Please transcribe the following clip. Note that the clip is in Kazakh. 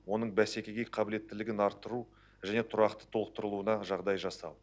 оның бәсекеге қабілеттілігін арттыру және тұрақты толықтырылуына жағдай жасау